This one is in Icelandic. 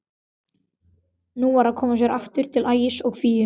Nú var að koma sér aftur til Ægis og Fíu.